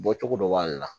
Bɔcogo dɔ b'ale la